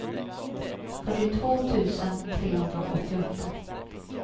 fyrtiotvå tusen trehundraåttioåtta